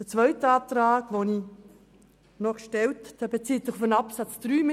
Mein zweiter Antrag bezieht sich auf Absatz 3.